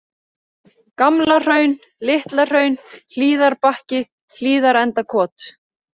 Gamla Hraun, Litla Hraun, Hlíðarbakki, Hlíðarendakot